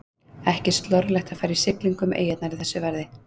Ekki slorlegt að fara í siglingu um eyjarnar í þessu veðri.